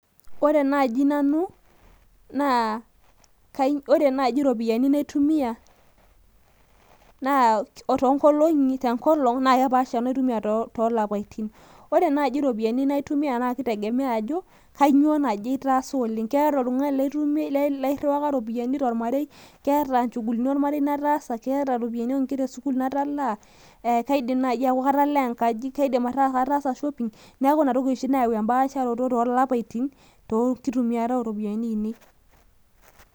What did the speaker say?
ore naaji nanu naa ore naaji iropiyiani natumia toongolong'i naa kepasha wenatumia too lapatin wore naaji iropiyiani natumia naa kitegemea ajo kainyoo naaji etasa oleng', ore oltung'ani leiruwaka tormarei naa keeta ichugulini ormarei nataasa , keeta iropiyiani oonkera esukul natalaa, kaidim naaji aku atalaa engaji, kaim naaji aaku katasa shopping ,neeku ina toki oshi nayau empaasharoto toolapatin tookitumiat oropiyiani ai nei.